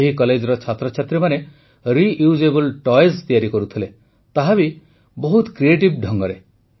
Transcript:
ଏହି କଲେଜର ଛାତ୍ରଛାତ୍ରୀମାନେ ରିୟୁଜେବଲ୍ ଟଏଜ୍ ତିଆରି କରୁଥିଲେ ତାହା ବି ବହୁତ କ୍ରିଏଟିଭ୍ ଢଙ୍ଗରେ